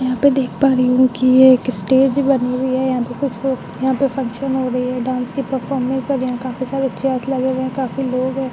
यहाँ पे देख पा रही हूँ की ये एक स्टेज बनी हुई है। यहाँ पे कुछ लोग यहाँ पे फंक्शन हो रही है। डांस की परफॉरमेंस चल रही है काफी सारी चेयर्स लगे हुए हैं काफी लोग हैं ।